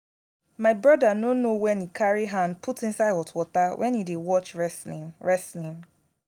my broda no know wen he carry hand put inside hot water wen he dey watch wrestling wrestling